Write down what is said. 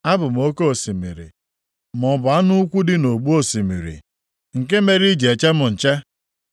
A bụ m oke osimiri, maọbụ anụ ukwu dị nʼogbu osimiri, nke mere i ji eche m nche?